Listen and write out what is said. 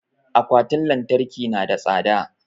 Akwatin lantarki na da tsada